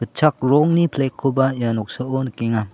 gitchak rongni flag-koba ia noksao nikenga.